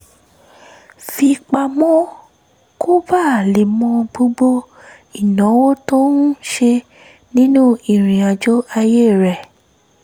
fi pamọ́ kó bàa lè mọ gbogbo ìnáwó tó ń ṣe nínú ìrìnàjò ayé rẹ̀